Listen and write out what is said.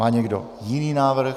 Má někdo jiný návrh?